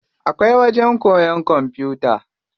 Akwai wajen koyan kwamfuta.